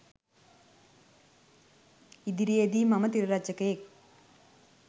ඉදිරියේදී මම තිර රචකයෙක්